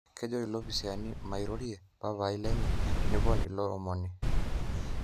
Kejo ilopisaani mairoririe papai lenye, nepon ilo omoni.